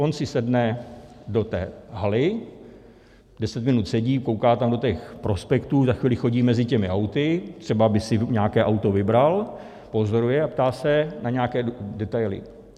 On si sedne do té haly, deset minut sedí, kouká tam do těch prospektů, za chvíli chodí mezi těmi auty, třeba by si nějaké auto vybral, pozoruje a ptá se na nějaké detaily.